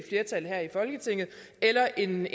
folketinget eller en